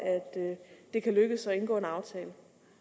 at det lykkes regionen at indgå en aftale